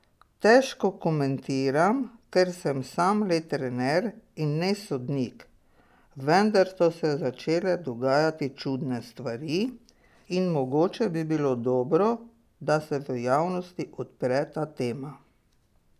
Težko komentiram, ker sem sam le trener in ne sodnik, vendar so se začele dogajati čudne stvari in mogoče bi bilo dobro, da se v javnosti odpre ta tema.